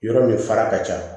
Yɔrɔ min fara ka ca